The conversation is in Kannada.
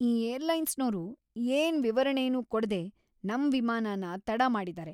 ಈ ಏರ್ಲೈನ್ಸೋರು ಏನ್ ವಿವರಣೆನೂ ಕೊಡ್ದೇ ನಮ್ ವಿಮಾನನ ತಡ ಮಾಡಿದಾರೆ.